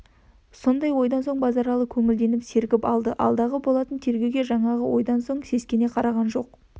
сондай ойдан соң базаралы көңілденіп сергіп алды алдағы болатын тергеуге жаңағы ойдан соң сескене қараған жоқ